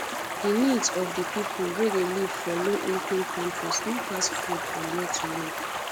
di needs of di pipo wey dey live for low income countries no pass food and where to live